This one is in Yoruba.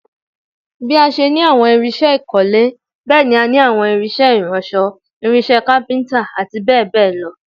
Bí a ṣe ní àwọn irinṣẹ́ ìkọ́lé, bẹ́ẹ̀ ni àwọn irinṣẹ́ ìránṣọ̀, irinṣẹ́ kápíntà, àti bẹ́ẹ̀ bẹ́ẹ̀ lọ